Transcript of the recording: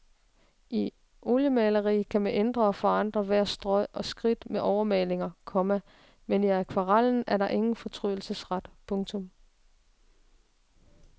I oliemaleri kan man ændre og forandre hvert strøg og skridt med overmalinger, komma men i akvarellen er der ingen fortrydelsesret. punktum